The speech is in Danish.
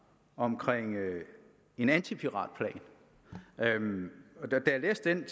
om en antipiratplan da jeg læste den